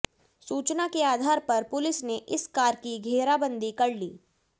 सूचना के आधार पर पुलिस ने इस कार की घेराबंदी कर ली